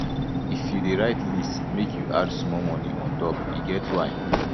if you dey write list make you add small moni on top e get why